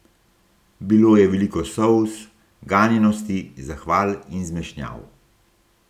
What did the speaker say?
Bilo je veliko solz, ganjenosti, zahval in zmešnjav.